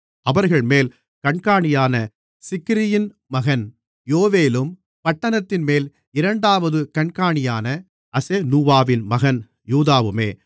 அவர்கள்மேல் கண்காணியான சிக்ரியின் மகன் யோவேலும் பட்டணத்தின்மேல் இரண்டாவது கண்காணியான அசெனூவாவின் மகன் யூதாவுமே